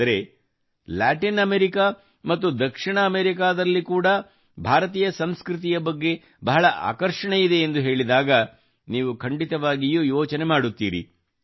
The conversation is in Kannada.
ಆದರೆ ಲ್ಯಾಟಿನ್ ಅಮೆರಿಕಾ ಮತ್ತು ದಕ್ಷಿಣ ಅಮೆರಿಕಾದಲ್ಲಿ ಕೂಡಾ ಭಾರತೀಯ ಸಂಸ್ಕೃತಿಯ ಬಗ್ಗೆ ಬಹಳ ಆಕರ್ಷಣೆಯಿದೆ ಎಂದು ಹೇಳಿದಾಗ ನೀವು ಖಂಡಿತವಾಗಿಯೂ ಯೋಚನೆ ಮಾಡುತ್ತೀರಿ